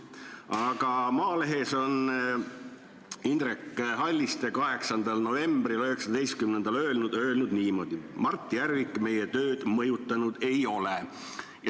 Aga Maalehes ütles Indrek Halliste 8. novembril 2019 niimoodi: "Mart Järvik meie tööd mõjutanud ei ole.